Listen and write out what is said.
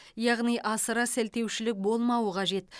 яғни асыра сілтеушілік болмауы қажет